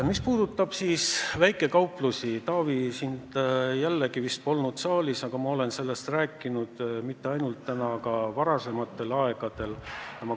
Mis puudutab väikekauplusi, Taavi, siis sind jälle vist polnud saalis, aga ma olen sellest rääkinud mitte ainult täna, vaid ka varem.